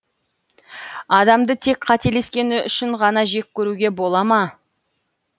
адамды тек қателескені үшін ғана жек көруге бола ма